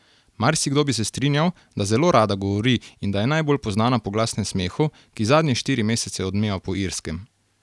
Marsikdo bi se strinjal, da zelo rada govori in da je najbolj poznana po glasnem smehu, ki zadnje štiri mesece odmeva po Irskem.